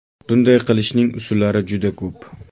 Bunday qilishning usullari juda ko‘p.